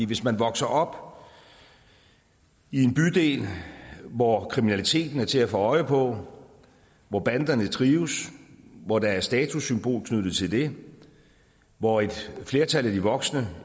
hvis man vokser op i en bydel hvor kriminaliteten er til at få øje på hvor banderne trives hvor der er statussymbol knyttet til det hvor et flertal af de voksne